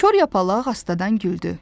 Kor yapaq astadan güldü.